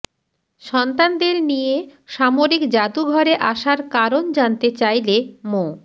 সন্তানদের নিয়ে সামরিক জাদুঘরে আসার কারণ জানতে চাইলে মো